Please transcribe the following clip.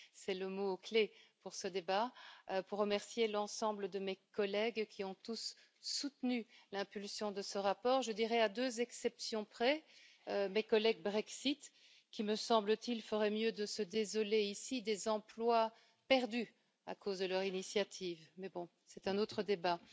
C'est le mot clé pour ce débat afin de remercier l'ensemble de mes collègues qui ont tous soutenu l'impulsion de ce rapport à deux exceptions près, mes collègues Brexit qui, me semble t il, feraient mieux de se désoler ici des emplois perdus à cause de leur initiative, mais c'est un autre débat.